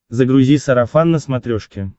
загрузи сарафан на смотрешке